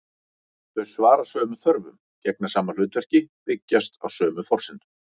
Þau svara sömu þörfum, gegna sama hlutverki, byggjast á sömu forsendum.